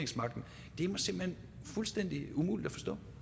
er mig simpelt hen fuldstændig umuligt